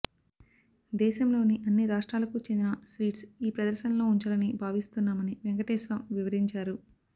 దేశంలోని అన్ని రాష్ట్రాలకు చెందిన స్వీట్స్ ఈ ప్రదర్శనలో ఉంచాలని భావిస్తున్నామని వెంకటేశ్వం వివరించారు